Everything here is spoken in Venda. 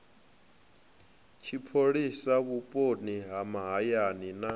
tshipholisa vhuponi ha mahayani na